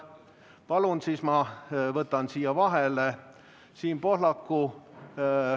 Palun, siis ma võtan siia vahele Siim Pohlaku.